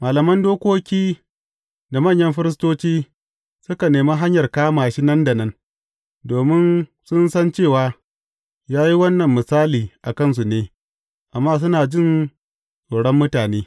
Malaman dokoki da manyan firistoci, suka nemi hanyar kama shi nan da nan, domin sun san cewa, ya yi wannan misali a kansu ne, amma suna jin tsoron mutane.